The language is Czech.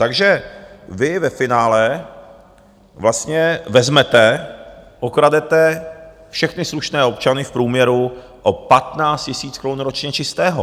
Takže vy ve finále vlastně vezmete, okradete všechny slušné občany v průměru o 15 000 korun ročně čistého.